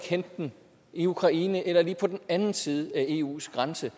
hente den i ukraine eller lige på den anden side af eus grænse